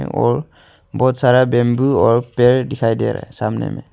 और बहुत सारा बंबू और पेड़ दिखाई दे रहा है सामने में।